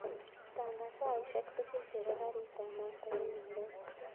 Pangan saishek tugul chebo garit ab maat akoi nairobi